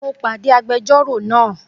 Mo pàdé agbẹjọ́rò náà